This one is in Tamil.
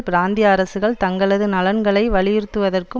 பிராந்திய அரசுகள் தங்களது நலன்களை வலியுறுத்துவதற்கும்